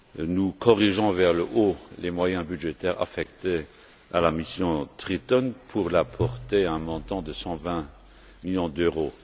Nous corrigeons vers le haut les moyens budgétaires affectés à la mission Triton, pour les porter à un montant de 120 millions d'euros.